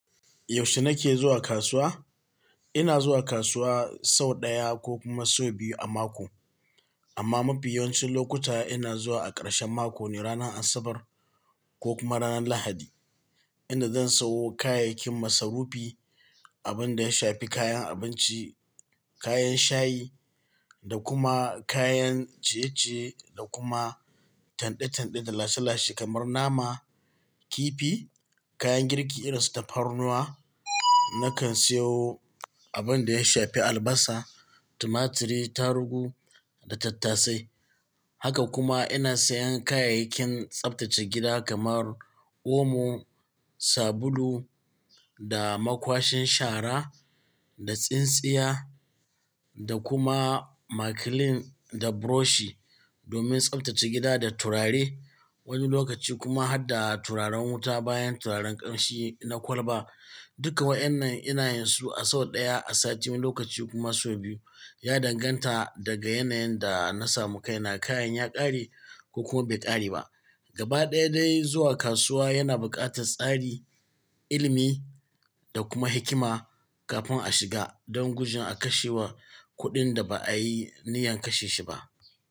Yaushe nake zuwa kasuwa? Ina zuwa kasuwa sau ɗaya ko kuma sau biyu a mako. Amma mafi yawancin lokuta ina zuwa a ƙarshen mako ne, ranar Asabar ko kuma ranar Lahadi. Ina zan sayo kayayyakin masarufi, abin da ya shafi kayan abinci, kayan shayi da kuma kayan ciye-ciye da kuma tanda-tanda da lashe-lashe kamar nama, kifi, kayan girki irin su tafarnuwa. Nakan siyo abin da ya shafi albasa, tumaturi, tarugu da tattasai. Haka kuma ina sayan kayayyakin tsaftace gida kamar omo, sabulu da makwashin shara da tsintsiya da kuma makilin da burushi domin tsaftace gida da turare. Wani lokaci kuma har da turaren wuta bayan turaren ƙamshi na kwalba. Duka wa'inan ina yin su a sau ɗaya a sati, wani lokaci kuma sau biyu. Ya danganta daga yanayin da na samu kaina, kayan ya ƙare ko kuma bai ƙare ba. Gaba ɗaya dai zuwa kasuwa yana buƙatar tsari, ilimi da kuma hikima kafin a shiga don gujin a kashewa kuɗin da ba a yi niyyar kashe shi ba.